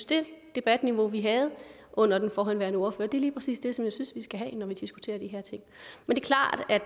det debatniveau vi havde under den forrige ordfører lige præcis er det jeg synes vi skal have når vi diskuterer de her ting men